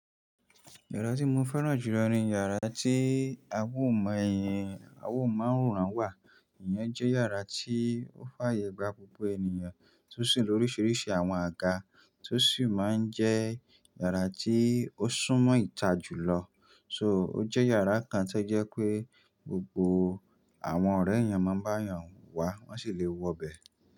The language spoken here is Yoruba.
Yàrá tí mo fẹ́ràn jù lọ ni yàrá tí a ó mọ èè, a ó mọ àwòrán wà. Iyen jẹ́ yàrá tí ó fàyè gba gbogbo ènìyàn tó sì ní oríṣiríṣi àwọn àga tó sì máa ń jẹ́ yàrá tí ó sún mọ́ ìta jù lọ. So ó jẹ́ yàrá kan tí ó jẹ́ pé gbogbo àwọn ọ̀rẹ́ èèyàn máa ń bá èèyàn wà, wọ́n sì le wọ bẹ̀e.